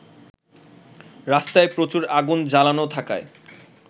রাস্তায় প্রচুর আগুন জ্বালানো থাকায়